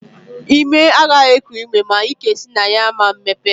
Imi agaghị eku ume ma ike si na ya ama mmepe.